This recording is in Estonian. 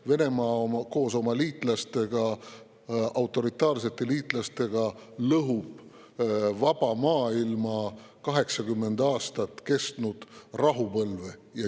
Venemaa koos oma liitlastega, autoritaarsete liitlastega lõhub vaba maailma 80 aastat kestnud rahupõlve.